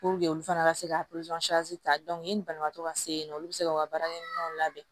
olu fana ka se ka ta yanni banabagatɔ ka se yen nɔ olu bi se k'u ka baarakɛminɛw labɛn